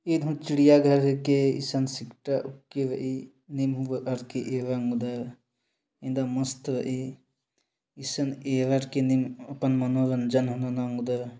इन चिड़ियाघर के संक्षिप्त के ईई ने मुहर की एवं एकदम मस्त इस एवर के निर्माण मनोरंजन अंगद।